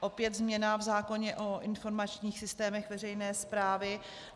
Opět změna v zákoně o informačních systémech veřejné správy.